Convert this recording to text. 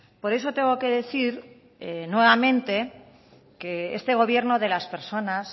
por eso tengo que decir nuevamente que este gobierno de las personas